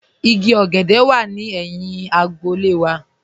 Ìgí ogèdè wà ní èhìn àgbò.